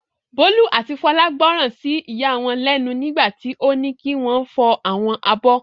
Bólú àti Fọlá gbọ́ràn sí ìyá wọn lẹ́nu nígbà tí ó ní kí wọ́n fọ àwọn abọ́.